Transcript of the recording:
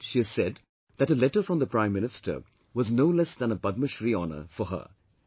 And, she has said that a letter from the Prime Minister was no less than a Padma Shree honour for her